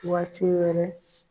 Waati wɛrɛ